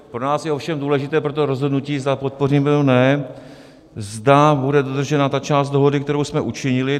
Pro nás je ovšem důležité pro to rozhodnutí, zda podpoříme, nebo ne, zda bude dodržena ta část dohody, kterou jsme učinili.